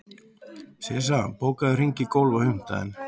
Sissa, bókaðu hring í golf á fimmtudaginn.